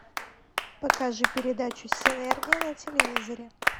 покажи передачу синергия на телевизоре